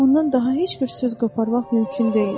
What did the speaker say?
Ondan daha heç bir söz qoparmaq mümkün deyildi.